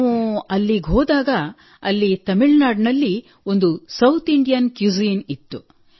ನಾವು ಅಲ್ಲಿಗೆ ಹೋದಾಗ ಅಲ್ಲಿ ತಮಿಳುನಾಡಿನಲ್ಲಿ ಒಂದು ಸೌತ್ ಇಂಡಿಯನ್ ಕ್ಯುಸಿನ್ ಇತ್ತು